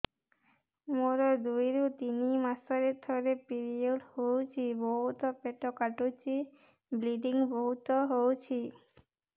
ମୋର ଦୁଇରୁ ତିନି ମାସରେ ଥରେ ପିରିଅଡ଼ ହଉଛି ବହୁତ ପେଟ କାଟୁଛି ବ୍ଲିଡ଼ିଙ୍ଗ ବହୁତ ହଉଛି